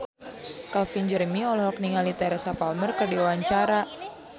Calvin Jeremy olohok ningali Teresa Palmer keur diwawancara